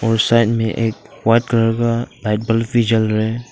उस साइड में white colour का लाईट बल्ब भी जल रहा है।